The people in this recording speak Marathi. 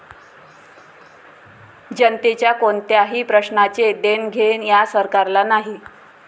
जनतेच्या कोणत्याही प्रश्नाचे देणघेण या सरकारला नाही.